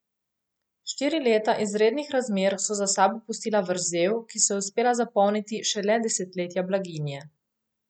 Štiri leta izrednih razmer so za sabo pustila vrzel, ki so jo uspela zapolniti šele desetletja blaginje.